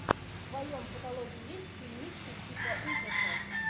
в твоем каталоге есть фильмище типа ужасов